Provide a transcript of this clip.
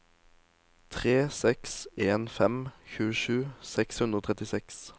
tre seks en fem tjuesju seks hundre og trettiseks